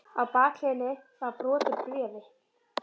Á bakhliðinni var brot úr bréfi.